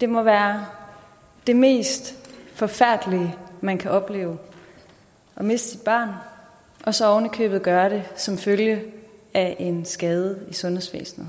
det må være det mest forfærdelige man kan opleve at miste sit barn og så ovenikøbet gøre det som følge af en skade i sundhedsvæsenet